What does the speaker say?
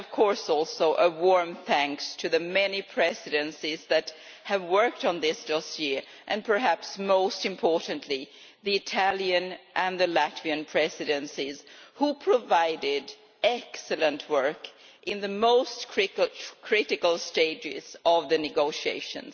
I would also like to warmly thank the many Presidencies that have worked on this dossier, and perhaps most importantly the Italian and the Latvian Presidencies, which provided excellent work in the most critical stages of the negotiations.